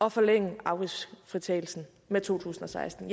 at forlænge afgiftsfritagelsen med 2016